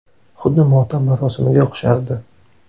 Xuddi motam marosimiga o‘xshardi.